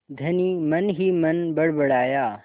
धनी मनहीमन बड़बड़ाया